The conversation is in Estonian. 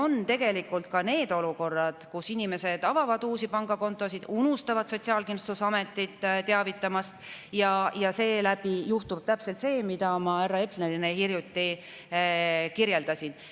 On ka neid olukordi, kus inimesed on avanud uue pangakonto, aga unustavad Sotsiaalkindlustusametit teavitamast ja siis juhtub täpselt see, mida ma härra Eplerile hiljuti kirjeldasin.